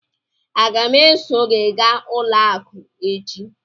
Aga m eso gị gaa ụlọ akụ echi?